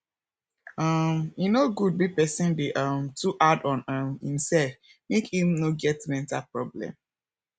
um e no good make person dey um too hard on um im self make im no get mental problem